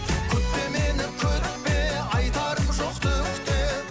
күтпе мені күтпе айтарым жоқ түк те